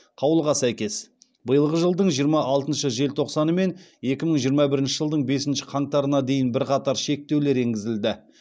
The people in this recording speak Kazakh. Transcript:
қаулыға сәйкес биылғы жылдың жиырма алтыншы желтоқсаны мен екі мың жиырма бірінші жылдың бесінші қаңтарына дейін бірқатар шектеулер енгізілді